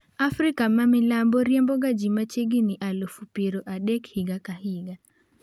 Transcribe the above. Afrika ma milambo riemboga ji machiegini aluf piero adek higa ka higa.